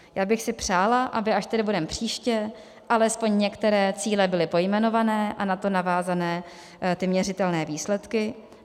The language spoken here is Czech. Já bych si přála, aby až tady budeme příště, alespoň některé cíle byly pojmenované a na to navázané ty měřitelné výsledky.